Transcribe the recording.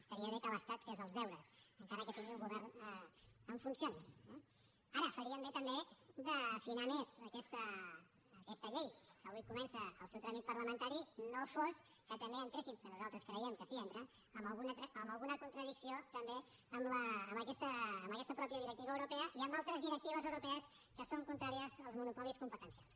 estaria bé que l’estat fes els deures encara que tingui un govern en funcions eh ara farien bé també d’afinar més aquesta llei que avui comença el seu tràmit parlamentari no fos que també entréssim que nosaltres creiem que sí que hi entra en alguna contradicció també amb aquesta mateixa directiva europea i amb altres directives europees que són contràries als monopolis competencials